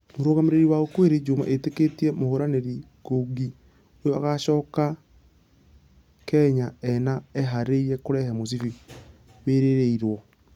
Mũrugamĩrĩri wa okwiri juma ĩtĩkĩtie mũhũrani ngungi ũyũ agocoka kenya e...na ehareirie kũrehe mũcibi wĩrireirwo.